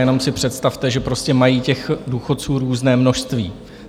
Jenom si představte, že prostě mají těch důchodců různé množství.